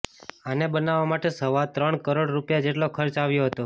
આને બનાવવા માટે સવા ત્રણ કરોડ રૂપિયા જેટલો ખર્ચ આવ્યો હતો